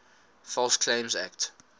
false claims act